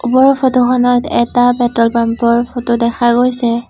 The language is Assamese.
ওপৰৰ ফটো খনত এটা পেট্ৰল পাম্প ৰ ফটো দেখা হৈছে।